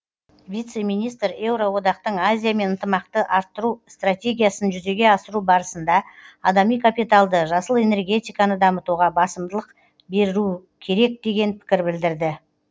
вице министр еуроодақтың азиямен ынтымақты арттыру стратегиясын жүзеге асыру барысында адами капиталды жасыл энергетиканы дамытуға басымдық берілу керек деген пікір білдірді